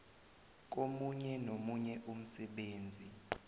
komunye nomunye umsebenzi